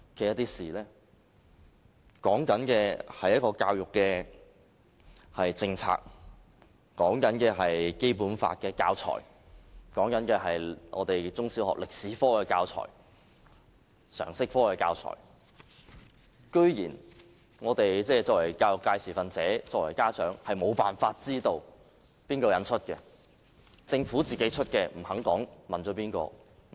現在說的是一項教育政策、是《基本法》的教材、是中小學歷史科的教材和常識科的教材，我們作為教育界持份者、作為家長的，居然沒有辦法知道誰人出版。